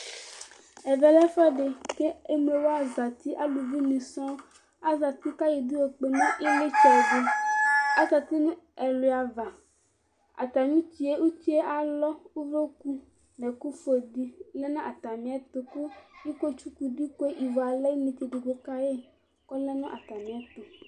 Ɛvɛ lɛ ɛfuɛdi k'emlowa zati aluvi ni sɔ̃n azati k'ayɔ idú yɔkpe nu iɣlitsɛ di, azati nu ɛluá avaAtami utie etie alɔ k'uvloku n'ɛku fue di lɛ nu atamìɛtu ku iko tsukù ku ivũ alɛ̃ inetse edigbo kayi k'ɔlɛ nu atamìɛtu